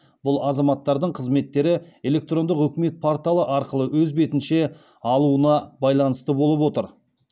бұл азаматтардың қызметтері электрондық үкімет порталы арқылы өз бетінше алуына байланысты болып отыр